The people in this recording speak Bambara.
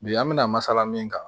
Bi an bɛna masala min kan